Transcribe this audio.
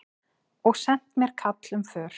Og sent mér kall um för.